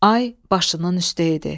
Ay başının üstə idi.